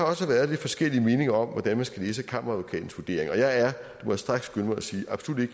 også være lidt forskellige meninger om hvordan man skal læse kammeradvokatens vurdering og jeg er må jeg straks skynde mig at sige absolut ikke